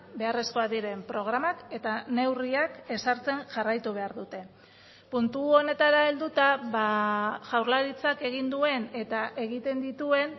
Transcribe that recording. beharrezkoak diren programak eta neurriak ezartzen jarraitu behar dute puntu honetara helduta jaurlaritzak egin duen eta egiten dituen